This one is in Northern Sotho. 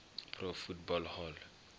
pro football hall